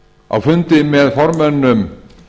á fundi með formönnum